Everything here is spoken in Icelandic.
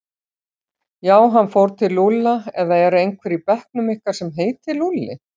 Já, hann fór til Lúlla eða er ekki einhver í bekknum ykkar sem heitir Lúlli?